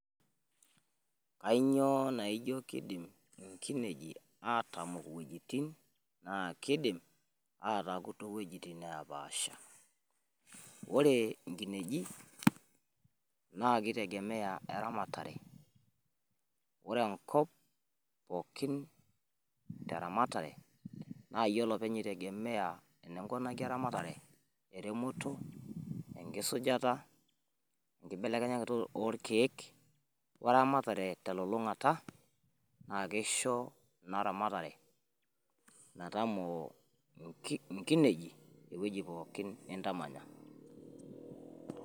Kanyioo naijio kidim nkinejik atamok iwuejitin naa kidim aataaku too iwuejitin neepaasha? wore inkineji nakitegemea eramatare, wore enkop pookin teramatare, nayiee olopeny itegemea teramatare eremoto ,enkisujata, enkibelekenyeta olkeek, weramatare telulungata, na kishoo inaa ramatare metamoo inkinejik ewueji pookin nintamanya